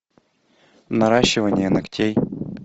наращивание ногтей